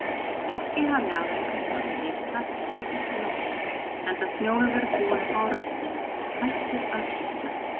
Ekki hafði afrekaskráin rýrnað þessa drykkjunótt, enda Snjólfur búinn að fá röddina, hættur að hvísla.